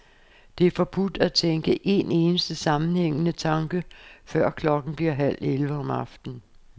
Det er forbudt at tænke en eneste sammenhængende tanke, før klokken bliver halv elleve om aftenen.